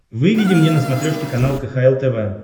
выведи мне на смотрешке канал кхл тв